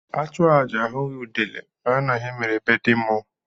Achụọ aja ahughi udele a mara na ihe mere be ndị mmụọ.